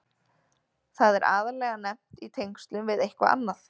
Það er aðallega nefnt í tengslum við eitthvað annað.